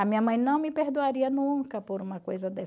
A minha mãe não me perdoaria nunca por uma coisa dessa.